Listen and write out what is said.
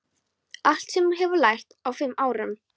Allt sem þú hefur lært á fimm árum.